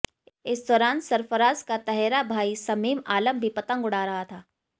इस दौरान सरफराज का तहेरा भाई समीम आलम भी पतंग उड़ा रहा था